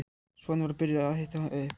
Svanur var byrjaður að hita upp.